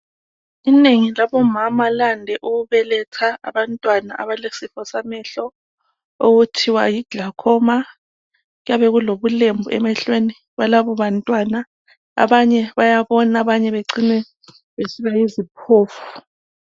Inengi labomama lande ukubeletha abantwana abalesifo samehlo, okuthiwa yi glaucoma, kuyabe kulobulembu emehlweni alabo bantwana, abanye bayabona abanye bacina besiba yiziphofu